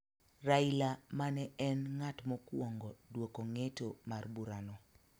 Raila ma ne en ng�at mokwongo dwoko ng'eto mar burano